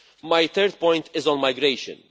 My third point is on migration.